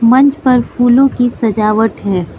मंच पर फूलों की सजावट हैं।